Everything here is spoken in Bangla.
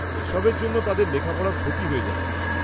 -এসবের জন্য তাদের লেখাপড়ার ক্ষতি হয়ে যাচ্ছে।